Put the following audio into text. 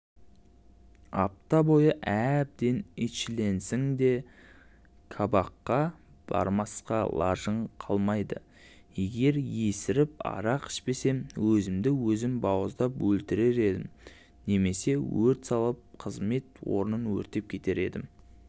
апта бойы әбден итшілейсің де кабакқа бармасқа лажың қалмайды егер есіріп арақ ішпесем өзімді өзім бауыздап өлтірер едім немесе өрт салып қызмет орнын өртеп кетер едім